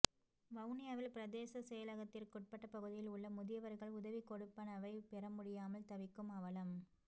வவுனியாவில் பிரதேச செயலகத்திற்குட் பட்ட பகுதிகளில் உள்ள முதியவர்கள் உதவிக்கொடுப்பனவை பெறமுடியாமல் தவிக்கும் அவலம்